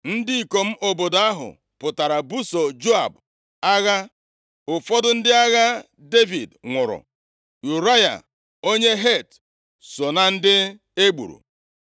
Ndị ikom obodo ahụ pụtara buso Joab agha. Ụfọdụ ndị agha Devid nwụrụ. Ụraya onye Het, so na ndị egburu.